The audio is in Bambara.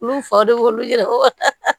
Olu fa de y'olu yɛrɛ